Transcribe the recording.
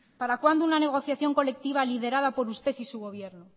para cuándo una negociación colectiva liderada por usted y su gobierno